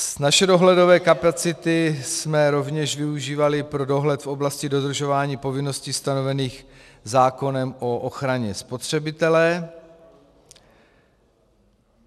Naše dohledové kapacity jsme rovněž využívali pro dohled v oblasti dodržování povinností stanovených zákonem o ochraně spotřebitele.